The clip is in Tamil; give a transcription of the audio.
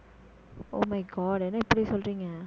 oh my god என்ன இப்படி சொல்றீங்க